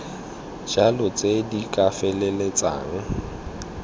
jalo tse di ka feleltsang